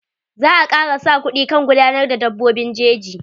Za a kara sa kuɗi kan gudanar da dabbobin jeji.